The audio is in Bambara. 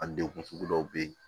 A degun sugu dɔw be yen